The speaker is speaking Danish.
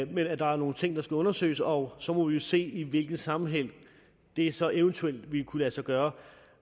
men at der er nogle ting der skal undersøges og så må vi jo se i hvilken sammenhæng det så eventuelt ville kunne lade sig gøre